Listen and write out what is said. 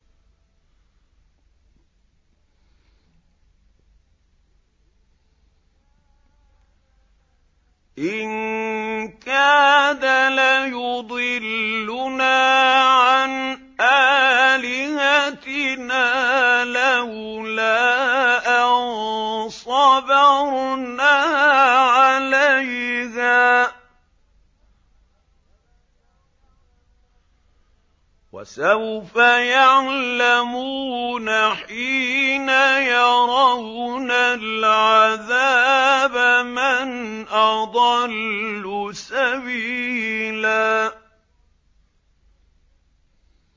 إِن كَادَ لَيُضِلُّنَا عَنْ آلِهَتِنَا لَوْلَا أَن صَبَرْنَا عَلَيْهَا ۚ وَسَوْفَ يَعْلَمُونَ حِينَ يَرَوْنَ الْعَذَابَ مَنْ أَضَلُّ سَبِيلًا